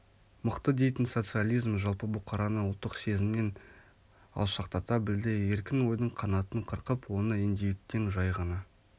мықты дейтін социализм жалпы бұқараны ұлттық сезңмнен алшақтата білді еркін ойдың қанатын қырқып оны индивидтен жай ғана